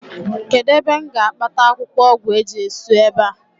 kedu ebe m ga-akpata akwukwo ogwu eje-jesu ebe a?